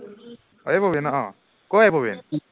এই প্ৰবিণ অ, কৰ এই প্ৰবিণ